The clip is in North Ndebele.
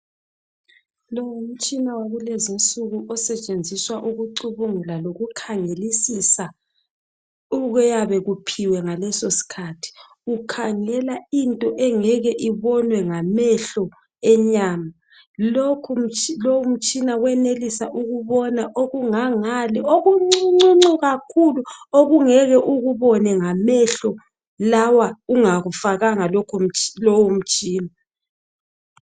Lo ngumtshina wakulezinsuku osetshenziswa ukucubungula lokukhangelisisa okuyabe kuphiwe ngalesosikhathi. Ukhangela into engeke ibonwe ngamehlo enyama. Lowu mtshina wenelisa ukubona okungangale okuncuncuncu kakhulu okungeke ukubone ngamehlo lawa ungakufakanga lowo mtshina.